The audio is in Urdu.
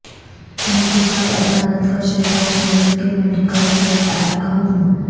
احتساب عدالت کا شہباز شریف کے میڈیکل چیک اپ کا حکم